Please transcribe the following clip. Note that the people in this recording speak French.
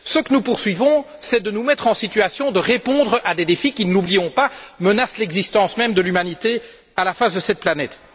Ce que nous poursuivons, c'est de nous mettre en situation de répondre à des défis qui, ne l'oublions pas, menacent l'existence même de l'humanité sur cette planète.